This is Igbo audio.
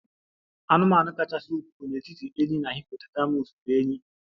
Anụmanụ kachasị ukwuu n'etiti enyí na hippopotamus bụ enyí